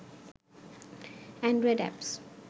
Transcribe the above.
Android apps